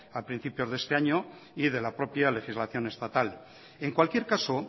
a principios de este año y de la propia legislación estatal en cualquier caso